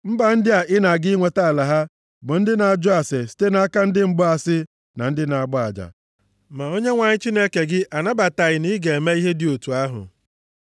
Mba ndị ị na-aga inweta ala ha bụ ndị na-ajụ ase site nʼaka ndị mgbaasị na ndị na-agba aja, ma Onyenwe anyị Chineke gị anabataghị na ị ga-eme ihe dị otu ahụ.